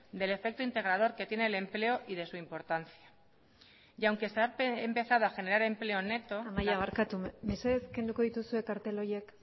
del efecto integrador que tiene el empleo y de su importancia y aunque se ha empezado a generar empleo neto amaia barkatu mesedez kenduko dituzue kartel horiek